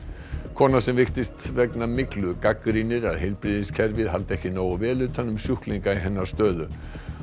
kona sem veiktist vegna myglu gagnrýnir að heilbrigðiskerfið haldi ekki nógu vel utan um sjúklinga í hennar stöðu